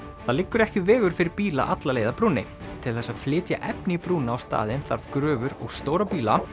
það liggur ekki vegur fyrir bíla alla leið að brúnni til þess að flytja efni í brúna á staðinn þarf gröfur og stóra bíla